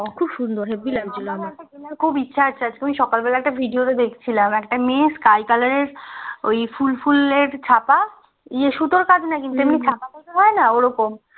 ওখুব সুন্দর হাব্বি লাগছিলো সকালবেলা একটা ভিডিওতে দেখছিলাম একটা মেয়ে skycolour এর ওই ফুল ফুলের ছাপা ইয়া সুতোর কাজ না কিন্তু